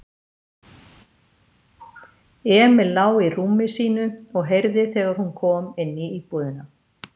Emil lá í rúmi sínu og heyrði þegar hún kom inní íbúðina.